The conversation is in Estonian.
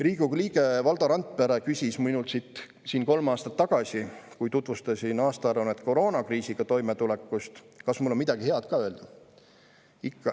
Riigikogu liige Valdo Randpere küsis minult siin kolm aastat tagasi, kui tutvustasin aastaaruannet koroonakriisiga toimetulekust, kas mul on midagi head ka öelda.